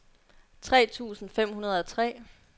tre tusind fem hundrede og tre